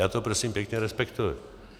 Já to prosím pěkně respektuji.